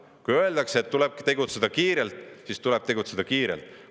Kui öeldakse, et tuleb tegutseda kiirelt, siis tulebki tegutseda kiirelt.